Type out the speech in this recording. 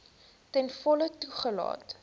ten volle toegelaat